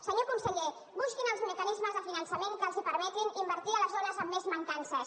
senyor conseller busquin els mecanismes de finançament que els permetin invertir a les zones amb més mancances